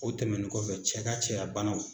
O tɛmɛni kɔfɛ cɛ ka cɛya banaw